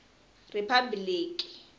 riphabiliki